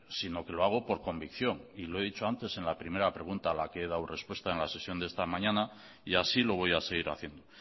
sino que lo hago por convicción y lo he dicho antes en la primera pregunta a la que he dado respuesta en la sesión de esta mañana y así lo voy a seguir haciendo